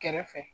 Kɛrɛfɛ